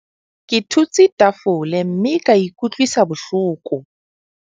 Ke thutse tafole mme ka ikutlwisa bohloko.